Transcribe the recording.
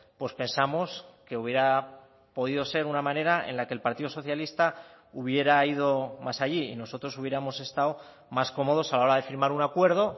pues pensamos que hubiera podido ser una manera en la que el partido socialista hubiera ido más allí y nosotros hubiéramos estado más cómodos a la hora de firmar un acuerdo